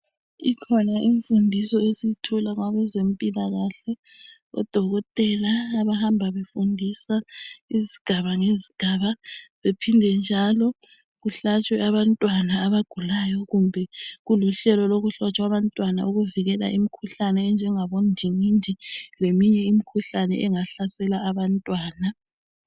Ikhona imfundiso esiyithola kwabezempilakahle odokotela abahamba befundisa ngezigaba ngezigaba bephinde njalo kuhlatshwe abantwana abagulayo kumbe kuluhlelo lokuhlatshwa kwabantwana ukuvikela imikhuhlane enjengabo ndingindi leminye imikhuhlane engahlasela abantwana.